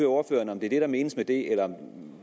ordføreren om det er det der menes med det eller